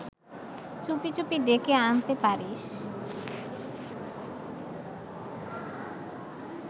চুপি চুপি ডেকে আনতে পারিস